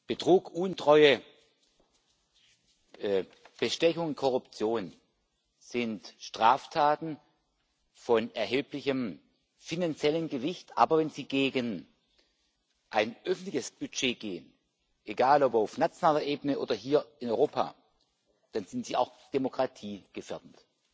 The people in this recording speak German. Betrug, Untreue, Bestechung, Korruption sind Straftaten von erheblichem finanziellem Gewicht. Aber wenn sie gegen ein öffentliches Budget gehen egal ob auf nationaler Ebene oder hier in Europa dann sind sie auch demokratiegefährdend.